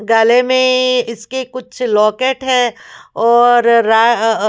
गले में ए इसके कुछ लॉकेट हैं और रा--